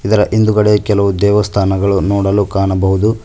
ಇದರ ಹಿಂದ್ಗಡೆ ಕೆಲವು ದೇವಸ್ಥಾನಗಳು ನೋಡಲು ಕಾಣಬಹುದು.